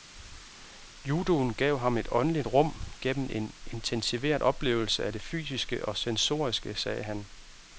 Judoen gav ham et åndeligt rum gennem en intensiveret oplevelse af det fysiske og sensoriske, sagde han.